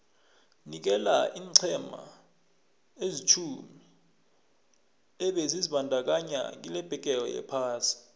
nikela iinqhema ezilitjhumi ebezizibandakanye kilebhigiri yephasi